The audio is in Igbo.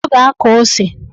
Ọ ga-akọ ose.